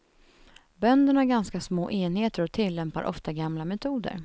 Bönderna har ganska små enheter och tillämpar ofta gamla metoder.